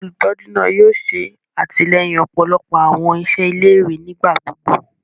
Olutọju náà yóò ṣe atilẹyin ọpọlọpọ awọn iṣẹ ilé-ìwé nigbagbogbo.